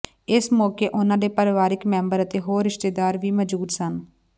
ਇਸ ਮੌਕੇ ਉਨ੍ਹਾਂ ਦੇ ਪਰਿਵਾਰਕ ਮੈਂਬਰ ਅਤੇ ਹੋਰ ਰਿਸ਼ਤੇਦਾਰ ਵੀ ਮੌਜੂਦ ਸਨ